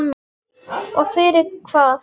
Og fyrir hvað?